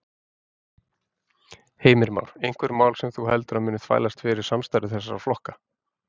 Heimir Már: Einhver mál sem þú heldur að muni þvælast fyrir samstarfi þessara flokka?